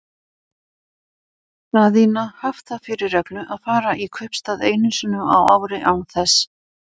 Daðína haft það fyrir reglu að fara í kaupstað einu sinni á ári, án þess